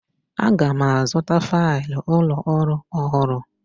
Aga m azụta failụ ụlọ ọrụ ọhụrụ.